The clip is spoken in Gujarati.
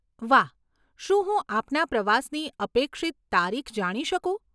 વાહ. શું હું આપના પ્રવાસની અપેક્ષિત તારીખ જાણી શકું?